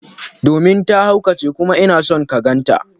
Domin ta haukace kuma ina son ka ganta.